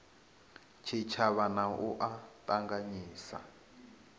tshitshavha na u a ṱanganyisa